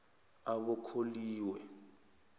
abokholiwe